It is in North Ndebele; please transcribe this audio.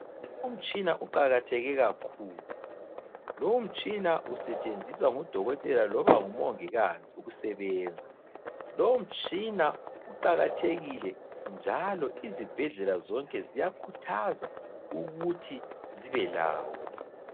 Umtshina uqakatheke kakhulu. Lowu mtshina usetshenziswa ngudokotela loba ngu mongikazi ukusebenza. Lowu mtshina uqakathekile njalo izibhedlela zonke ziyakhuthaza ukuthi zibe lawo.